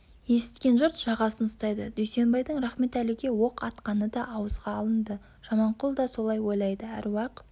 есіткен жұрт жағасын ұстайды дүйсенбайдың рахметәліге оқ атқаны да ауызға алынды жаманқұл да солай ойлайды әруақ